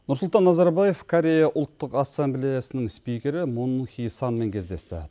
нұрсұлтан назарбаев корея ұлттық ассамблеясының спикері мун хи санмен кездесті